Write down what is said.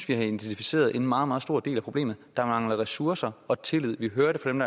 vi har identificeret en meget meget stor del af problemet nemlig der mangler ressourcer og tillid vi hører det fra dem